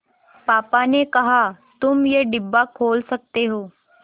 पापा ने कहा तुम ये डिब्बा खोल सकते हो